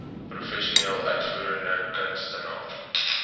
professionele uitvoerende kunstenaars